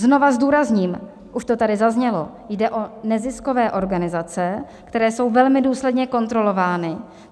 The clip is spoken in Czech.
Znova zdůrazním, už to tady zaznělo, jde o neziskové organizace, které jsou velmi důsledně kontrolovány.